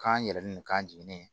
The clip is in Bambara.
K'an yɛrɛ ni k'an jigin